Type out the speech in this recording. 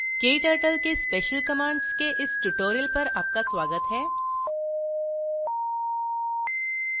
kturtle के special commands के इस tutorial पर आपका स्वागत हैं